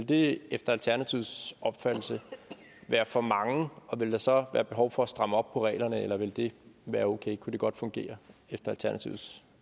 det efter alternativets opfattelse være for mange og ville der så være behov for at stramme op på reglerne eller ville det være okay og kunne det godt fungere efter alternativets